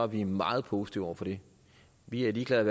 vi meget positive over for det vi er ligeglade